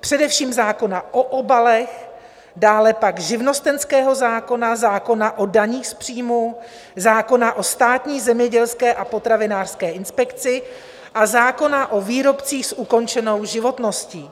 především zákona o obalech, dále pak živnostenského zákona, zákona o daních z příjmů, zákona o státní zemědělské a potravinářské inspekci a zákona o výrobcích s ukončenou životností.